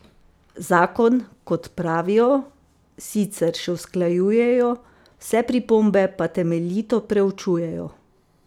Zakon, kot pravijo, sicer še usklajujejo, vse pripombe pa temeljito preučujejo.